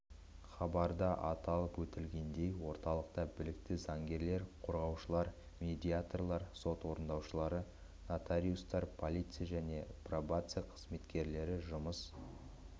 хабарда атап өтілгендей орталықта білікті заңгерлер қорғаушылар медиаторлар сот орындаушылары нотариустар полиция және пробация қызметкерлері жұмыс